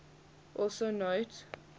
also note